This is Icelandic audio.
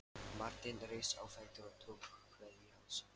Marteinn reis á fætur og tók kveðju hans.